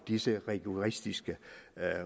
disse rigoristiske